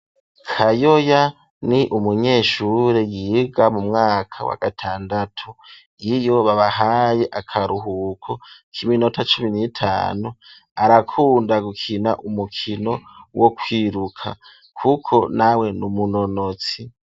Kayoya, ni umunyeshure yiga mu mwaka wa gatandatu, iyo babahaye akaruhuko k'iminota cumi n'itanu ,arakunda gukina umukino wo kwiruka, kuko nawe, n'umunonotsi.